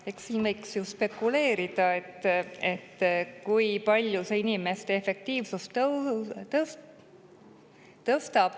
Eks siin võiks ju spekuleerida, kui palju see inimeste efektiivsust tõstaks.